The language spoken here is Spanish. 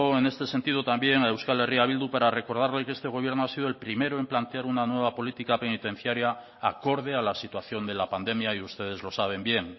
en este sentido también a euskal herria bildu para recordarle que este gobierno ha sido el primero en plantear una nueva política penitenciaria acorde a la situación de la pandemia y ustedes lo saben bien